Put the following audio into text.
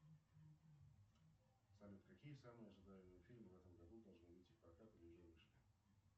салют какие самые ожидаемые фильмы в этом году должны выйти в прокат или уже вышли